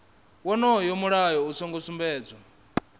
wonoyo mulayo u songo sumbedzwa